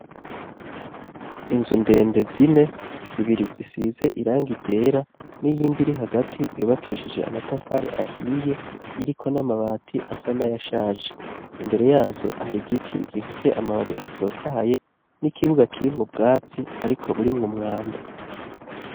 Inzu ndende zine, zibiri zisize irangi ryera n'iyindi iri hagati yubakeshije amatafari ahiye iriko n'amabati asa n'ayashaje, imbere yazo hari igiti gifise amababi atotahaye n'ikibuga kirimwo ubwatsi ariko burimwo umwanda.